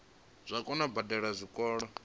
dzo kona u badela zwikolodo